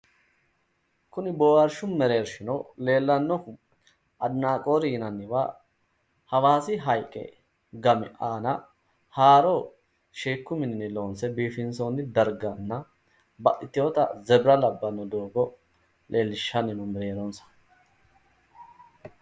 Kuni boohaarshshu mereershshio leellannohu adinaaqoori yinanniwa hawaasi haayiiqete gami aana haaro sheekku mininni loonse biifinsoonni darganna baxxitewoota zebira labbanno doogo leellishshanni no mereeronsa.